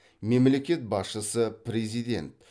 мемлекет басшысы президент